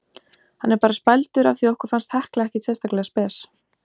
Hann er bara spældur af því okkur fannst Hekla ekkert sérstaklega spes.